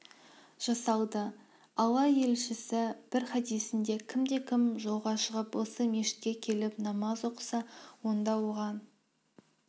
жасалды алла елшісі бір хадисінде кімде-кім жолға шығып осы мешітке келіп намаз оқыса онда оған